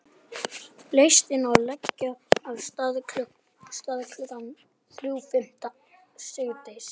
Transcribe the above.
Lestin á að leggja af stað klukkan þrjú fimmtán síðdegis.